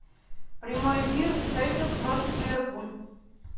прямой эфир шеффилд против ливерпуль